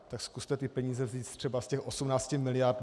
Tak zkuste ty peníze vzít třeba z těch 18 miliard.